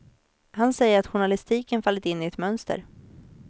Han säger att journalistiken fallit in i ett mönster.